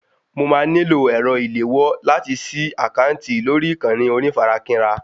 Mo máa nílò ẹ̀rọ ìléwọ́ láti sí àkáǹtì lórí ìkànnì onífarakínra